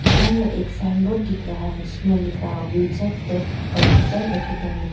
इधर में एक साइन बोर्ड दिख रहा है जिसमें लिखा है विजार्ड टेक कंप्यूटर अकादमी ।